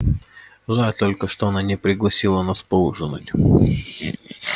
жаль только что она не пригласила нас поужинать